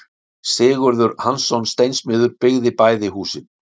Sigurður Hansson steinsmiður byggði bæði húsin.